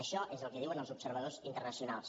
això és el que diuen els observadors internacionals